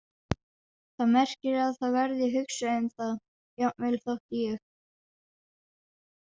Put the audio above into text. Það merkir að það verður hugsað um það, jafnvel þótt ég.